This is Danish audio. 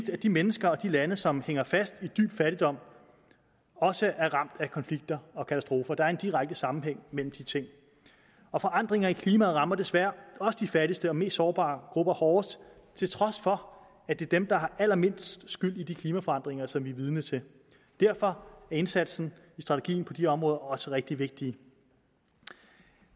de mennesker og de lande som hænger fast i dyb fattigdom også er ramt af konflikter og katastrofer der er en direkte sammenhæng mellem de ting forandringer i klimaet rammer desværre også de fattigste og mest sårbare grupper hårdest til trods for at det er dem der har allermindst skyld i de klimaforandringer som vi er vidne til derfor er indsatsen i strategien på de områder også rigtig vigtig